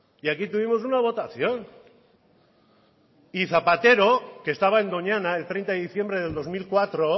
y aquí tuvimos una votación y zapatero que estaba en doñana el treinta de diciembre de dos mil cuatro